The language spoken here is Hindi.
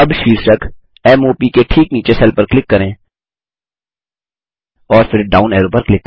अब शीर्षक m o प के ठीक नीचे सेल पर क्लिक करें और फिर डाउन एरो पर क्लिक करें